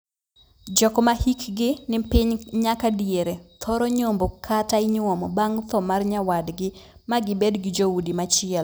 Jok ma hikgi ni piny nyaka diere thoro nyombo kata inyuomo bang' thoo mar nyawadgi, ma gibed gi joudi machielo.